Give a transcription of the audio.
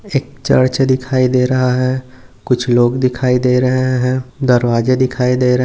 एक चर्च दिखाई दे रहा है कुछ लोग दिखाई दे रहे है दरवाजे दिखाई दे रहे--